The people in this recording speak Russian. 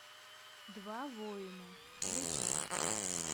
два война включай